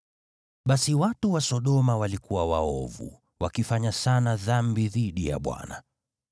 Basi watu wa Sodoma walikuwa waovu, wakifanya sana dhambi dhidi ya Bwana .